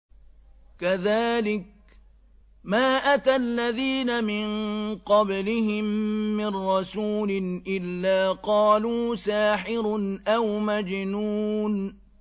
كَذَٰلِكَ مَا أَتَى الَّذِينَ مِن قَبْلِهِم مِّن رَّسُولٍ إِلَّا قَالُوا سَاحِرٌ أَوْ مَجْنُونٌ